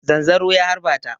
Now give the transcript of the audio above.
Zanzaro ya harba ta.